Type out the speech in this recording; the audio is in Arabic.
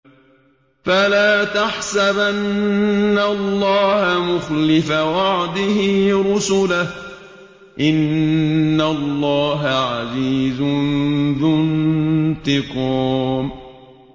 فَلَا تَحْسَبَنَّ اللَّهَ مُخْلِفَ وَعْدِهِ رُسُلَهُ ۗ إِنَّ اللَّهَ عَزِيزٌ ذُو انتِقَامٍ